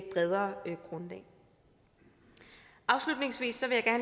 bredere grundlag afslutningsvis